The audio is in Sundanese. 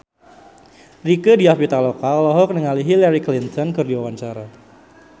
Rieke Diah Pitaloka olohok ningali Hillary Clinton keur diwawancara